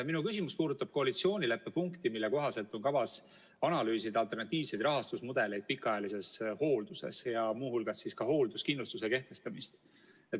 Minu küsimus puudutab koalitsioonileppe punkti, mille kohaselt on kavas analüüsida alternatiivseid rahastusmudeleid pikaajalises hoolduses, ja muu hulgas ka hoolduskindlustuse kehtestamist.